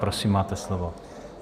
Prosím, máte slovo.